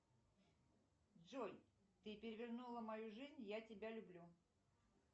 джой ты перевернула мою жизнь я тебя люблю